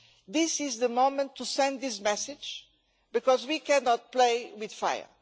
This is the moment to send this message, because we cannot play with fire.